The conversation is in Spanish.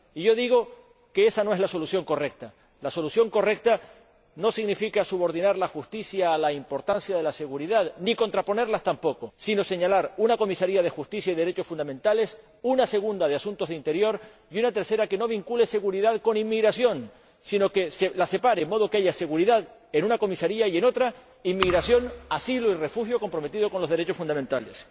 Yo digo que ésa no es la solución correcta la solución correcta no consiste en subordinar la justicia a la importancia de la seguridad ni tampoco en contraponerlas, sino en crear una comisaría de justicia y derechos fundamentales, una segunda de asuntos de interior y una tercera que no vincule seguridad con inmigración, sino que las separe, de modo que haya seguridad en una comisaría y, en otra, inmigración, asilo y refugio comprometidos con los derechos fundamentales.